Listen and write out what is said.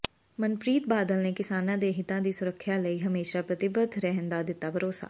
ਮਨਪ੍ਰੀਤ ਬਾਦਲ ਨੇ ਕਿਸਾਨਾਂ ਦੇ ਹਿੱਤਾਂ ਦੀ ਸੁਰੱਖਿਆ ਲਈ ਹਮੇਸ਼ਾ ਪ੍ਰਤੀਬੱਧ ਰਹਿਣ ਦਾ ਦਿੱਤਾ ਭਰੋਸਾ